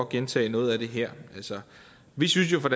gentage noget af det her vi synes jo fra